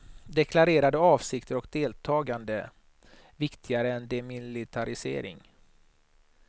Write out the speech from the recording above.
Deklarerade avsikter och deltagande viktigare än demilitarisering.